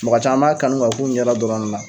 Mɔgɔɔ caman b'a kanu ka k'un ɲɛ da dɔrɔn ne la.